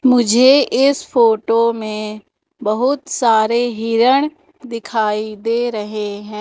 मुझे इस फोटो में बहुत सारे हिरन दिखाई दे रहे हैं।